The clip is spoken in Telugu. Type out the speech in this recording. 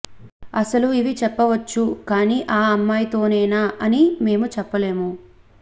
అసలు ఇవి చెప్పవచ్చు కానీ ఆ అమ్మాయితోనేనా అని మేమ చెప్పలేము